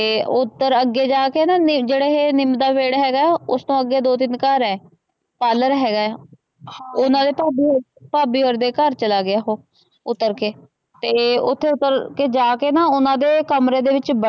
ਉਪਰ ਅਗੇ ਜਾਕੇ ਨਾ ਜੇਹੜਾ ਇਹ ਨੀਮ ਦਾ ਪੇੜ ਹੇਗਾ ਉਸਤੋ ਅਗੇ ਦੋ ਤਿਨ ਘਰ ਆ ਪਾਰਲਰ ਹੇਗਾ ਓਹ ਨਾਲੇ ਭਾਭੀ ਦੇ ਘਰ ਚਲਾ ਗਿਆ ਓਹ ਉਤਰ ਕੇ ਤੇ ਉਥੇ ਜਾਕੇ ਨਾ ਓਹਨਾ ਦੇ ਕਮਰੇ ਦੇ ਵਿਚ ਵੜ।